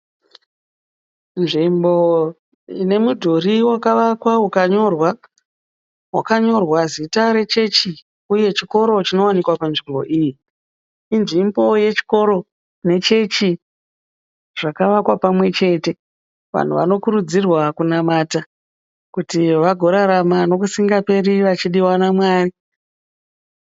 Nzvimbo ine mudhuri wakavakwa ukanyorwa. Wakanyorwa zita rechechi uye chikoro chinowanikwa panzvimbo iyi. Inzvimbo yechikoro nechechi zvakavakwa pamwe chete. Vanhu vanokurudzirwa kunamata kuti vagorarama nokusingaperi vachidiwa naMwari.